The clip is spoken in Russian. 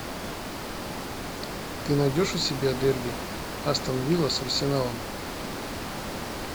ты найдешь у себя дерби астон вилла с арсеналом